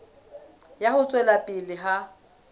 ya ho tswela pele ha